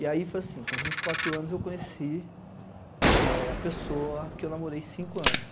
E aí foi assim, com vinte quatro anos eu conheci eh a pessoa que eu namorei cinco anos